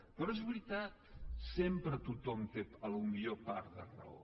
però és veritat sempre tothom té potser part de raó